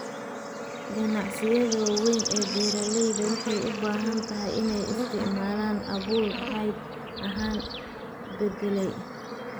Ganacsiyada waaweyn ee beeralayda waxay u badan tahay inay isticmaalaan abuur hidde ahaan la beddelay.